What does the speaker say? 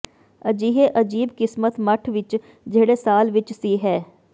ਅਜਿਹੇ ਅਜੀਬ ਕਿਸਮਤ ਮੱਠ ਵਿਚ ਜਿਹੜੇ ਸਾਲ ਵਿੱਚ ਸੀ ਹੈ